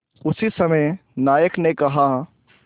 उसी समय नायक ने कहा